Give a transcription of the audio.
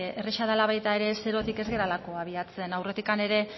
erraza dela baita ere zerotik ez garelako abiatzen aurretik ere